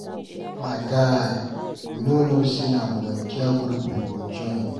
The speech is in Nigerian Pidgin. My guy, we no know say na volunteer group we go join.